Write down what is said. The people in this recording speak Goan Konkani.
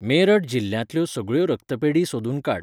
मेरठ जिल्ल्यांतल्यो सगळ्यो रक्तपेढी सोदून काड.